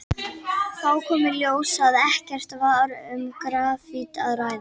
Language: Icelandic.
Þá kom í ljós að ekki var um grafít að ræða.